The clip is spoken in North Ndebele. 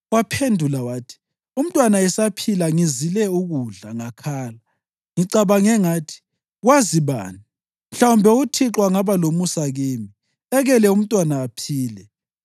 Waphendula wathi, “Umntwana esaphila, ngizile ukudla ngakhala. Ngicabange ngathi, ‘Kwazi bani? Mhlawumbe uThixo angaba lomusa kimi ekele umntwana aphile.’